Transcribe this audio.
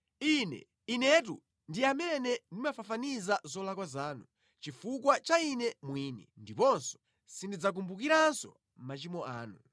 “Ine, Inetu, ndi amene ndimafafaniza zolakwa zanu, chifukwa cha Ine mwini, ndipo sindidzakumbukiranso machimo anu.